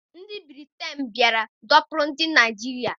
Ndị Britain bịara dọkpụrụ ndị Naịjirịa.